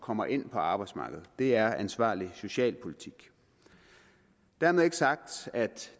kommer ind på arbejdsmarkedet det er ansvarlig socialpolitik dermed ikke sagt at